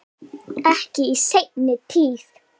Ekki í seinni tíð.